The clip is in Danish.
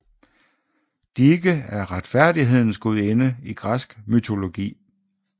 Dike er retfærdighedens gudinde i græsk mytologi